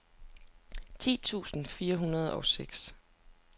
ti tusind fire hundrede og seks